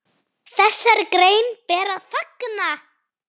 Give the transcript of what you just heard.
Þessari grein ber að fagna.